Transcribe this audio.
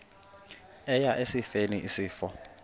eya esifeni isifo